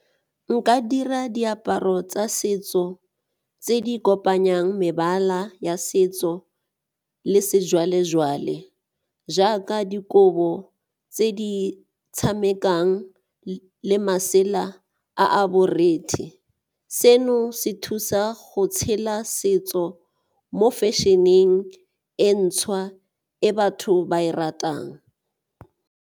Nka dira diaparo tsa setso tse di kopanyang mebala ya setso le sejwalejwale jaaka dikobo tse di tshamekang le masela a a borethe. Seno se thusa go tshela setso mo fashion-eng e ntšhwa e batho ba e ratang.